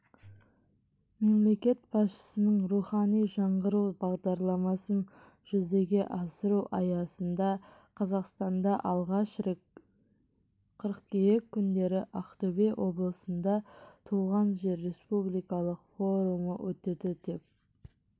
мемлекет басшысының рухани жаңғыру бағдарламасын жүзеге асыру аясында қазақстанда алғаш рет қыркүйек күндері ақтөбе облысында туған жер республикалық форумы өтеді деп